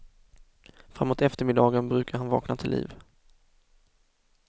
Framåt eftermiddagen brukar han vakna till liv.